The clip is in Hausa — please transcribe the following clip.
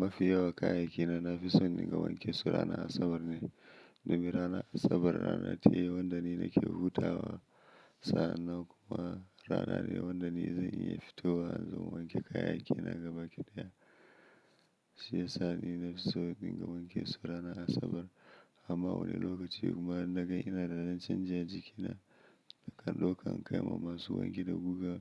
Mafi yawa kayayyaki na nafi son in dinga wanke su ranan Asabar ne. Domin ranan Asabar rana ce wanda ni nake hutawa sa'an nan kuma rana ne wanda ni zan iya fitowa in zo in wanke kayayyaki na gabaki daya. Shi ya sa ni nafi so in dinga wanke su ranan Asabar. Amma wani lokaci kuma in na gan ina da dan canji a jikina, nakan ɗauka in kaiwa masu wanki da guga